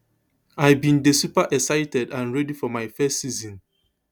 i bin dey super excited and ready for my first season